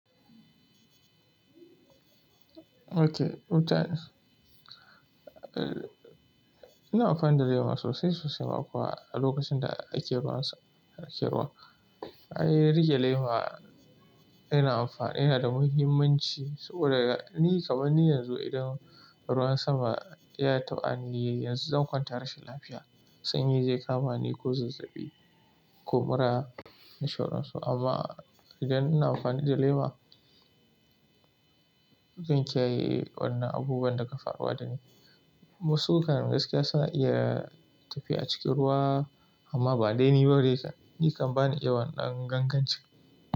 Okay. Eh, ina amfani da lema sosai sosai ma kuwa a lokacin da ake ruwan sama, ake ruwa. A yi riƙe lema ina amfani, yana da muhimmanci saboda ni kaman ni yanzu idan ruwan sama ya taɓani, yanzu zan kwanta rashin lafiya. Sanyi zai kama ni ko zazzaɓi ko mura na sha ruwan so amma idan ina amfani da lema, zan kiyaye wannan abubuwan daga faruwa da ni. Wasu kan gaskiya suna iya tafiya a cikin ruwa amma ba dai ni ba dai kan. Ni kan ba ni iya wannan gangancin.